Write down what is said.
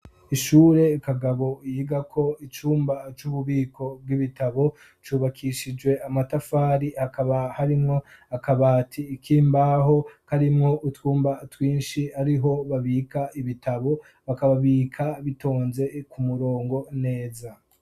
Ishure Kagabo yiga ko icumba c'ububiko bw'ibitabo cubakishijwe amatafari .hakaba harimwo akabati ikimbaho karimwo utwumba twinshi ariho babika ibitabo bakababika bitonze ku murongo neza.